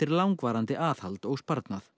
langvarandi aðhald og sparnað